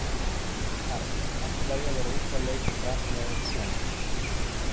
Karen: Allt í lagi að vera úti að leika með svona?